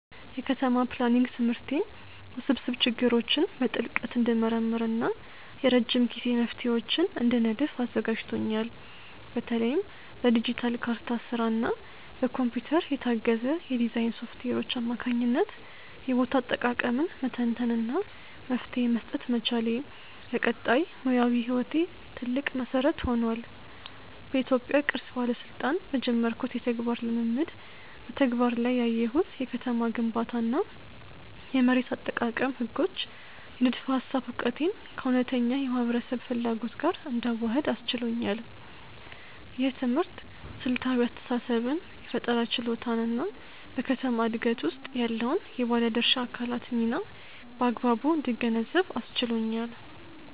የከተማ ፕላኒንግ ትምህርቴ ውስብስብ ችግሮችን በጥልቀት እንድመረምር እና የረጅም ጊዜ መፍትሄዎችን እንድነድፍ አዘጋጅቶኛል። በተለይም በዲጂታል ካርታ ስራ እና በኮምፒውተር የታገዘ የዲዛይን ሶፍትዌሮች አማካኝነት የቦታ አጠቃቀምን መተንተን እና መፍትሄ መስጠት መቻሌ፣ ለቀጣይ ሙያዊ ህይወቴ ትልቅ መሰረት ሆኗል። በኢትዮጵያ ቅርስ ባለስልጣን በጀመርኩት የተግባር ልምምድ በተግባር ላይ ያየሁት የከተማ ግንባታ እና የመሬት አጠቃቀም ህጎች የንድፈ ሃሳብ እውቀቴን ከእውነተኛ የህብረተሰብ ፍላጎት ጋር እንዳዋህድ አስችሎኛል። ይህ ትምህርት ስልታዊ አስተሳሰብን የፈጠራ ችሎታን እና በከተማ ዕድገት ውስጥ ያለውን የባለድርሻ አካላት ሚና በአግባቡ እንድገነዘብ አስችሎኛል።